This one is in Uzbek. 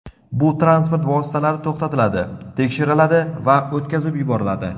Bu transport vositalari to‘xtatiladi, tekshiriladi va o‘tkazib yuboriladi.